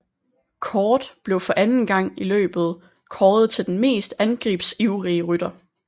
Cort blev for anden gang i løbet kåret til den mest angrebsivrige rytter